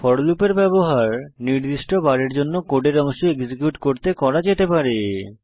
four লুপের ব্যবহার নির্দিষ্ট বারের জন্য কোডের অংশ এক্সিকিউট করতে করা যেতে পারে